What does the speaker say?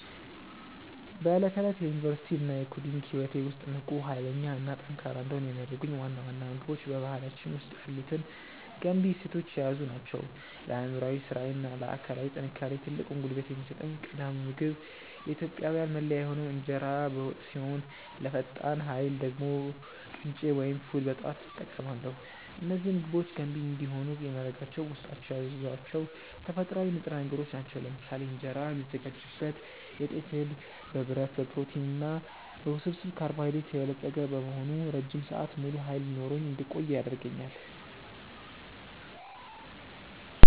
በዕለት ተዕለት የዩኒቨርሲቲ እና የኮዲንግ ህይወቴ ውስጥ ንቁ፣ ኃይለኛ እና ጠንካራ እንድሆን የሚያደርጉኝ ዋና ዋና ምግቦች በባህላችን ውስጥ ያሉትን ገንቢ እሴቶች የያዙ ናቸው። ለአእምሯዊ ስራዬ እና ለአካላዊ ጥንካሬዬ ትልቁን ጉልበት የሚሰጠኝ ቀዳሚው ምግብ የኢትዮጵያዊያን መለያ የሆነው እንጀራ በወጥ ሲሆን፣ ለፈጣን ኃይል ደግሞ ቅንጬ ወይም ፉል በጠዋት እጠቀማለሁ። እነዚህ ምግቦች ገንቢ እንዲሆኑ የሚያደርጋቸው በውስጣቸው የያዟቸው ተፈጥሯዊ ንጥረ ነገሮች ናቸው። ለምሳሌ እንጀራ የሚዘጋጅበት የጤፍ እህል በብረት፣ በፕሮቲን እና በውስብስብ ካርቦሃይድሬት የበለጸገ በመሆኑ ረጅም ሰዓት ሙሉ ኃይል ኖሮኝ እንድቆይ ያደርገኛል።